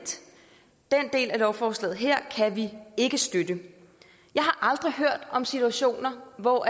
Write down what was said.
del af lovforslaget kan vi ikke støtte jeg har aldrig hørt om situationer hvor